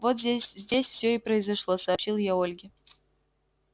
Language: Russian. вот здесь все и произошло сообщил я ольге